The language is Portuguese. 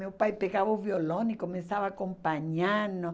Meu pai pegava o violão e começava a acompanhar-nos.